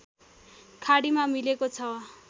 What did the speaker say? खाडीमा मिलेको छ